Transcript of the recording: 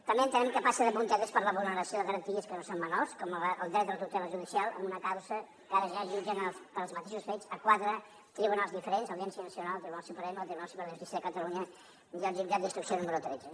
també entenem que passa de puntetes per la vulneració de garanties que no són menors com el dret a la tutela judicial amb una causa que ara ja jutgen pels mateixos fets quatre tribunals diferents audiència nacional tribunal suprem el tribunal superior de justícia de catalunya i el jutjat d’instrucció número tretze